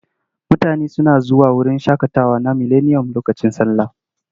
Mutane suna zuwa wurin shaƙatawa na Mileniyom lokacin sallah.